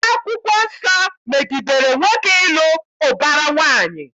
Akwụkwọ Nsọ megidere nwoke ịlụ ụbara nwaanyị